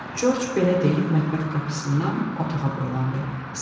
Corc belə deyib mətbəx qapısından otağa boylandı.